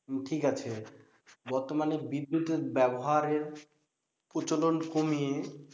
ঠিক আছে বর্তমানে বিদ্যুতের ব্যবহারের প্রচলন কমিয়ে,